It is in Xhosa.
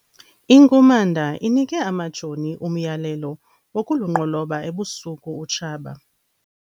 Inkumanda inike amajoni umyalelo wokulunqoloba ebusuku utshaba.